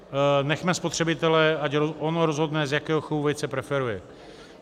Nechme spotřebitele, ať on rozhodne, z jakého chovu vejce preferuje.